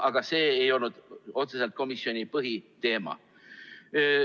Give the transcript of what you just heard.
Aga see ei olnud otseselt komisjoni põhiteema.